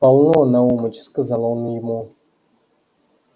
полно наумыч сказал он ему